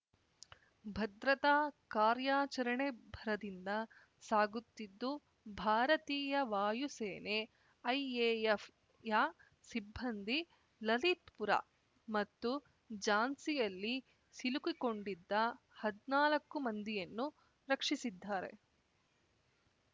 ಭದ್ರತಾ ಕಾರ್ಯಾಚರಣೆ ಭರದಿಂದ ಸಾಗುತ್ತಿದ್ದು ಭಾರತೀಯ ವಾಯು ಸೇನೆಐಎಎಫ್‌ಯ ಸಿಬ್ಬಂದಿ ಲಲಿತ್‌ಪುರ ಮತ್ತು ಜಾನ್ಸಿಯಲ್ಲಿ ಸಿಲುಕಿಕೊಂಡಿದ್ದ ಹದ್ನಾಲ್ಕು ಮಂದಿಯನ್ನು ರಕ್ಷಿಸಿದ್ದಾರೆ